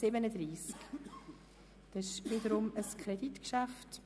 Es handelt sich wiederum um ein Kreditgeschäft.